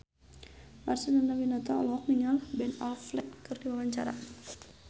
Marcel Chandrawinata olohok ningali Ben Affleck keur diwawancara